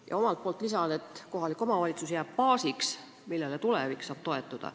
" Ja omalt poolt lisan, et kohalik omavalitsus jääb baasiks, millele tulevik saab toetuda.